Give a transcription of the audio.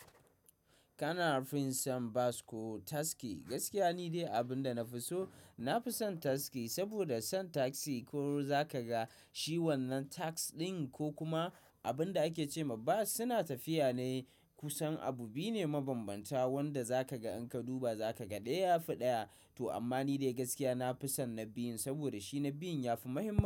Kana fin son bas ko taski? Gaskiya ni dai abin da na fi so, na fi son taski. Saboda son taxi ko za ka ga shi wannan tags ɗin ko kuma abin da ake ce ma bas suna tafiya ne kusan abu biyu ne mabanbanta wanda za ka ga in ka duba za ka ga ɗaya ya fi ɗaya. To amma ni dai gaskiya na fi son na biyun saboda shi na biyun ya fi muhimma.